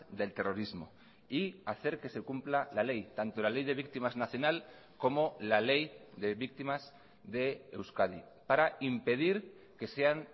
del terrorismo y hacer que se cumpla la ley tanto la ley de víctimas nacional como la ley de víctimas de euskadi para impedir que sean